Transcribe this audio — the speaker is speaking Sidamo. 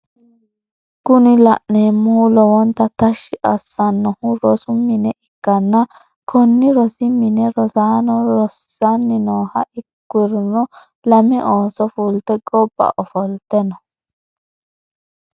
Kuni la'neemohu lowonta tashshi assannohu rosu mine ikkanna konni rosi mine rosaano rissanni nooha ukkirono lame ooso fulte gobba ofolte no.